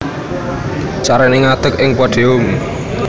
Carané Ngadeg ing Podium